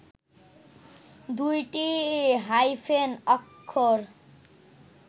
দুইটি হাইফেন অক্ষর